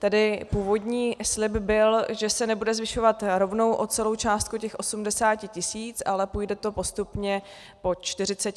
Tedy původní slib byl, že se nebude zvyšovat rovnou o celou částku těch 80 tisíc, ale půjde to postupně po 40 tisících.